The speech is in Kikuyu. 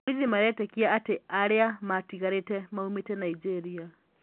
Borithi maretikia ati aria matigarite maumite Nigeria